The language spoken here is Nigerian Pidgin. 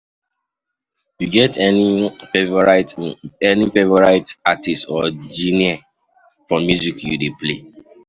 You get any favorite favorite artist or genre for music you dey play?